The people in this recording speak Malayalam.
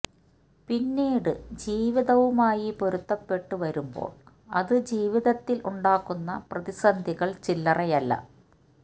പിന്നീട് ജീവിതവുമായി പൊരുത്തപ്പെട്ട് വരുമ്പോള് അത് ജീവിതത്തില് ഉണ്ടാക്കുന്ന പ്രതിസന്ധികള് ചില്ലറയല്ല